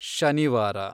ಶನಿವಾರ